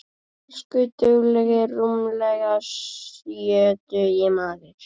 Elsku duglegi rúmlega sjötugi maður.